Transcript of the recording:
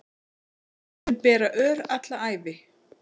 Mun bera ör alla ævi